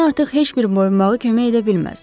Mənə artıq heç bir boyunbağı kömək edə bilməz.